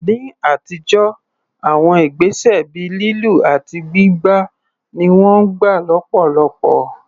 Ní àtijọ́, àwọn ìgbésẹ̀ ìkà bíi lílù àti gbígbá ni wọ́n gbà lọ́pọ̀lọpọ̀.